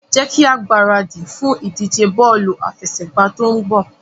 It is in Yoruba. Jẹ́ kí a gbáradì fún ìdíje bọ́ọ̀lù àfẹsẹ̀gbá tó ń bọ̀.